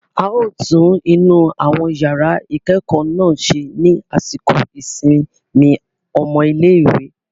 A ó tún inú àwọn yàrá ìkẹ́kọ̀ọ́ náà ṣe ní àsìkò ìsinmi ọmọ ilẹ̀ ìwẹ̀.